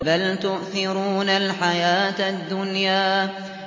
بَلْ تُؤْثِرُونَ الْحَيَاةَ الدُّنْيَا